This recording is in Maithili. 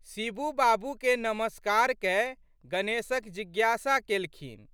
षिबू बाबूकेँ नमस्कार कए गणेशक जिज्ञासा केलखिन।